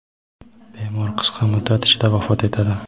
bemor qisqa muddat ichida vafot etadi.